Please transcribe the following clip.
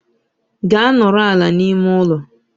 Gaa nọrọ ala n'ime ụlọ!